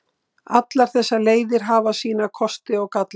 Allar þessar leiðir hafa sína kosti og galla.